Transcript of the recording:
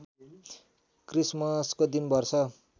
क्रिसमसको दिन वर्ष